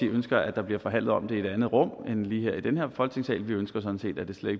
ønsker at der bliver forhandlet om det i et andet rum end lige her i den her folketingssal vi ønsker sådan set at det slet